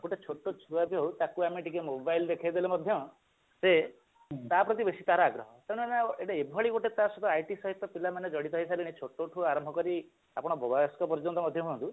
ଗୋଟେ ଛୋଟ ଛୁଆ ଯୋଉ ତାକୁ ଆମେ ଟିକେ mobile ଦେଖେଇଦେଲେ ମଧ୍ୟ ସେ ତା ପ୍ରତି ବେଶୀ ତାର ଆଗ୍ରହ ତେଣୁ ଆମେ ଆଉ ଏଟା ଏଭଳି ତା ସହିତ IT ସହିତ ପିଲାମାନେ ଜଡିତ ହେଇ ସାରିଲେଣି ଛୋଟଠୁ ଆରମ୍ଭ କରି ଆପଣ ବୟସ୍କ ପର୍ଯ୍ୟନ୍ତ ମଧ୍ୟ ହୁଅନ୍ତୁ